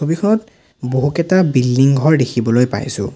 ছবিখনত বহুকেটা বিল্ডিং ঘৰ দেখিবলৈ পাইছোঁ।